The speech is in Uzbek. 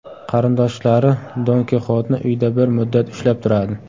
Qarindoshlari Don Kixotni uyda bir muddat ushlab turadi.